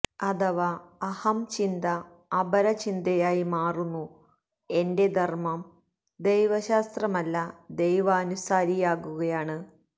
അഥവാ അഹം ചിന്ത അപര ചിന്തയായി മാറുന്നു എന്റെ ധര്മ്മം ദൈവശാസ്ത്രമല്ല ദൈവാനുസാരിയാകുകയാണ്